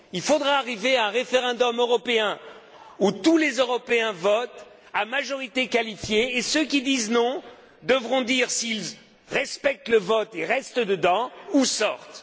Il faudra arriver à un référendum européen, où tous les Européens votent à la majorité qualifiée, et ceux qui disent non devront dire s'ils respectent le vote et restent dedans, ou s'ils sortent.